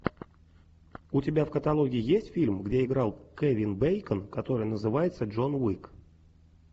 у тебя в каталоге есть фильм где играл кевин бейкон который называется джон уик